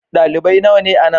Dalibai nawa ne a nan?